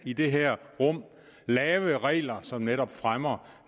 i det her rum kan lave regler som netop fremmer